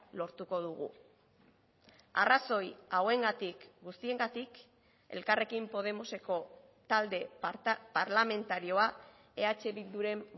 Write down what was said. lortuko dugu arrazoi hauengatik guztiengatik elkarrekin podemoseko talde parlamentarioa eh bilduren